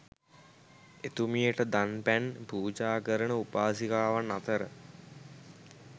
එතුමියට දන් පැන් පූජා කරන උපාසිකාවන් අතර